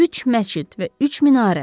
Üç məscid və üç minarə.